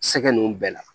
Sɛgɛ nunnu bɛɛ la